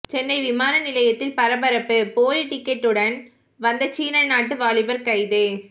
சென்னை விமான நிலையத்தில் பரபரப்பு போலி டிக்கெட்டுடன் வந்த சீனா நாட்டு வாலிபர் கைது